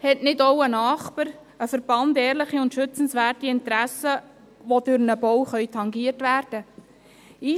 Hat nicht auch ein Nachbar oder ein Verband ehrliche und schützenswerte Interessen, die durch einen Bau tangiert werden können?